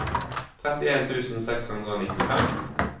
trettien tusen seks hundre og nittifem